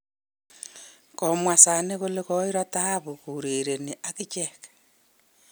Komwa Sane kole koiro taabu kourereni ak ichek